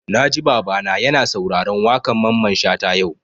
Na ji Baba na ya na sauraron waƙan Mamman Shata yau